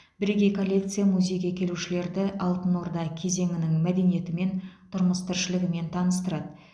бірегей коллекция музейге келушілерді алтын орда кезеңінің мәдениетімен тұрмыс тіршілігімен таныстырады